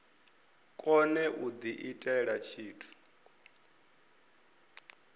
kone u diitela tshithu i